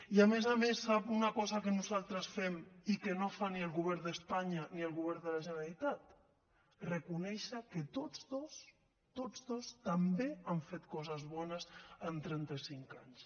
i a més a més sap una cosa que nosaltres fem i que no fa ni el govern d’espanya ni el govern de la generalitat reconèixer que tots dos tots dos també han fet coses bones en trenta cinc anys